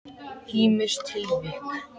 Ýmis tilvik.